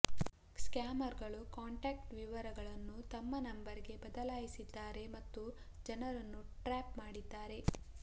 scammer ಗಳು contact ವಿವರಗಳನ್ನು ತಮ್ಮ ನಂಬರ್ ಗೆ ಬದಲಾಯಿಸಿದ್ದಾರೆ ಮತ್ತು ಜನರನ್ನು ಟ್ರ್ಯಾಪ್ ಮಾಡಿದ್ದಾರೆ